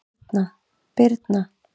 Birna